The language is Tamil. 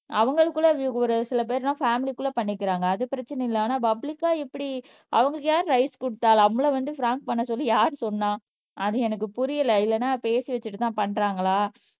அவங்களுக்குள்ள ஒரு சில பேருன்னா பேமிலிக்குள்ள பண்ணிக்கிறாங்க அது பிரச்சனை இல்ல ஆனா பப்ளிகா இப்படி அவங்களுக்கு யாரு ரைட்ஸ் கொடுத்தா நம்மள வந்து பிராங்க் பண்ண சொல்லி யார் சொன்னா அது எனக்கு புரியல இல்லன்னா பேசி வச்சுட்டு தான் பண்றாங்களா